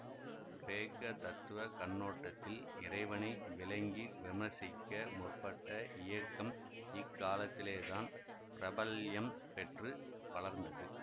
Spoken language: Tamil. கிரேக்க தத்துவ கண்ணோட்டத்தில் இறைவனை விளங்கி விமர்சிக்க முற்பட்ட இயக்கம் இக்காலத்திலேதான் பிரபல்யம் பெற்று வளர்ந்தது